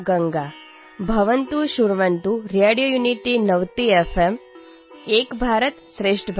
नमोनमः सर्वेभ्यः | मम नाम गङ्गा | भवन्तः शृण्वन्तु रेडियोयुनिटीनवति